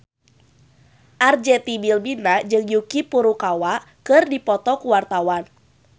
Arzetti Bilbina jeung Yuki Furukawa keur dipoto ku wartawan